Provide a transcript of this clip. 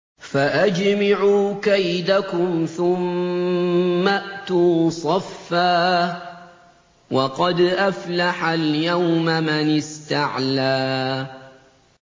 فَأَجْمِعُوا كَيْدَكُمْ ثُمَّ ائْتُوا صَفًّا ۚ وَقَدْ أَفْلَحَ الْيَوْمَ مَنِ اسْتَعْلَىٰ